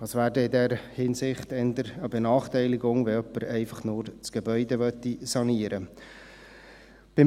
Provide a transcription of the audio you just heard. Das wäre dann in der Hinsicht eher eine Benachteiligung, wenn jemand einfach nur das Gebäude sanieren möchte.